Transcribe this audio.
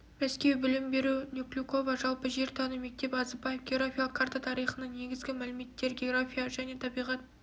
мәскеу білім беру неклюкова жалпы жер тану мектеп азыбаев географиялық карта тарихының негізгі мәліметтері география және табиғат